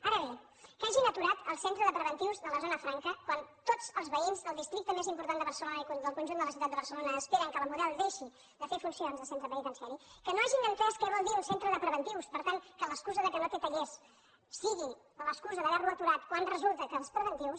ara bé que hagin aturat el centre de preventius de la zona franca quan tots els veïns del districte més important de barcelona i del conjunt de la ciutat de barcelona esperen que la model deixi de fer funcions de centre penitenciari que no hagin entès què vol dir un centre de preventius per tant que l’excusa que no té tallers sigui l’excusa d’haver lo aturat quan resulta que els preventius